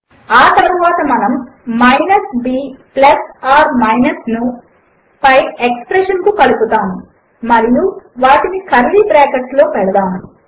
ఆ తరువాత మనము minus b plus r minus ను పై ఎక్స్ప్రెషన్ కు కలుపుతాము మరియు వాటిని కర్లీ బ్రాకెట్లలో పెడతాము